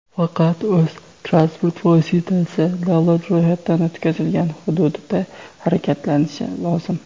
faqat o‘z (transport vositasi davlat ro‘yxatidan o‘tkazilgan) hududida harakatlanishi lozim.